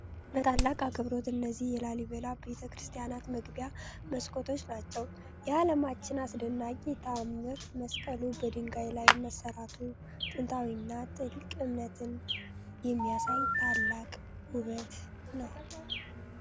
በታላቅ አክብሮት! እነዚህ የላሊበላ ቤተክርስቲያን መግቢያ መስኮቶች ናቸው! የዓለማችን አስደናቂ ተአምር! መስቀሉ በድንጋይ ላይ መሰራቱ ጥንታዊና ጥልቅ እምነትን የሚያሳይ ታላቅ ውበት ነው!